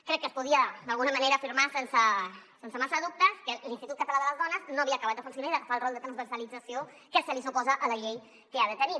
crec que es podia d’alguna manera afirmar sense massa dubtes que l’institut català de les dones no havia acabat de funcionar i d’agafar el rol transversalització que suposa la llei que ha de tenir